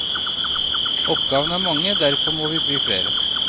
Oppgavene er mange, derfor må vi bli flere.